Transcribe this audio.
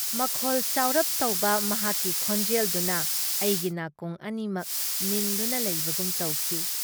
ꯃꯈꯣꯜ ꯆꯥꯎꯔꯞ ꯇꯧꯕ ꯃꯍꯥꯛꯀꯤ ꯈꯣꯟꯖꯦꯜꯗꯨꯅ ꯑꯩꯒꯤ ꯅꯥꯀꯣꯡ ꯑꯅꯤꯃꯛ ꯅꯤꯟꯗꯨꯅ ꯂꯩꯕꯒꯨꯝ ꯇꯧꯈꯤ ꯫